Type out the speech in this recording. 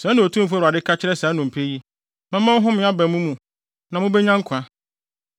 Sɛɛ na Otumfo Awurade ka kyerɛ saa nnompe yi: Mɛma ɔhome aba mo mu na mubenya nkwa.